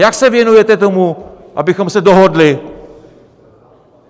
Jak se věnujete tomu, abychom se dohodli?